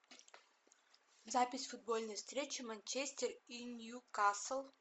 запись футбольной встречи манчестер и ньюкасл